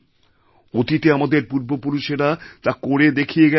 অতীতে আমাদের পূর্বপুরুষেরা তা করে দেখিয়ে গেছেন